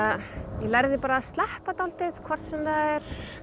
lærði að sleppa dálítið hvort sem það er